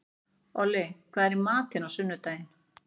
Olli, hvað er í matinn á sunnudaginn?